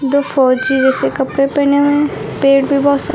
दो फौजी जैसे कपड़े पहने हुए हैं पेड़ भी बहुत सा--